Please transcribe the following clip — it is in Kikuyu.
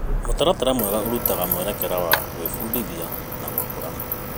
Mũtaratara mwega ũrutaga mwerekera wa gwĩbundithia na gũkũra.